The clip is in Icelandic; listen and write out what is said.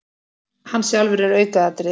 Hann sjálfur er aukaatriði.